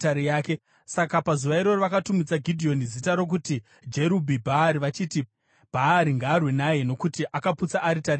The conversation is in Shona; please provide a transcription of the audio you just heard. Saka pazuva iroro vakatumidza Gidheoni zita rokuti, “Jerubhi-Bhaari,” vachiti, “Bhaari ngaarwe naye, nokuti akaputsa aritari yaBhaari.”